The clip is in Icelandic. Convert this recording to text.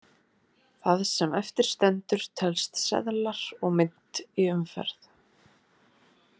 Það sem eftir stendur telst seðlar og mynt í umferð.